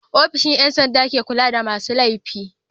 ofishin Yan sanda ke kulada masu lefi